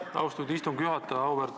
Aitäh, austatud istungi juhataja!